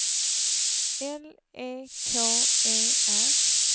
L E K E R